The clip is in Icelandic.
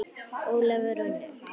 Ólafur og Unnur.